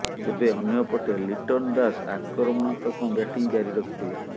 ତେବେ ଅନ୍ୟପଟେ ଲିଟନ୍ ଦାସ ଆକ୍ରମଣାତ୍ମକ ବ୍ୟାଟିଂ ଜାରି ରଖିଥିଲେ